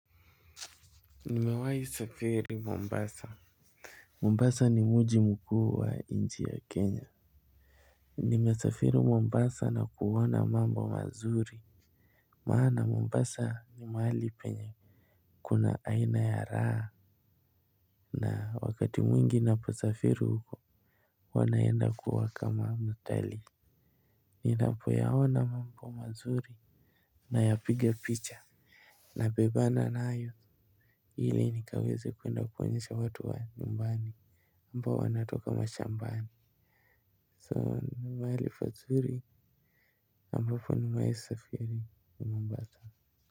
Nimewahi safiri. Mombasa. Mombasa ni mji mkuu wa nchi ya Kenya. Nimesafiri Mombasa na kuona mambo mazuri. Maana Mombasa ni mahali penye kuna aina ya raha. Na wakati mwingi naposafiri huko. Wanaenda kuwaka maamuteli. Ninapoyaona mambo mazuri. Nayapiga picha. Nabebana nayo ili nikaweze kuenda kuonyesha watu wa nyumbani ambao wanatoka mashambani. So mahali pazuri ambapo nimewahi isafiri n Mombasa.